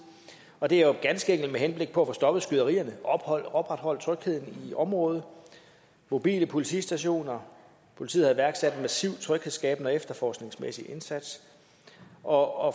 og det er jo ganske enkelt med henblik på at få stoppet skyderierne og opretholde trygheden i området mobile politistationer politiet har iværksat en massiv tryghedsskabende og efterforskningsmæssig indsats og